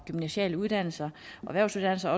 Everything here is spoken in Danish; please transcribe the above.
gymnasiale uddannelser og erhvervsuddannelser